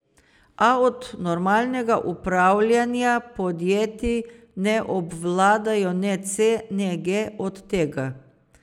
A od normalnega upravljanja podjetij ne obvladajo ne C ne G od tega.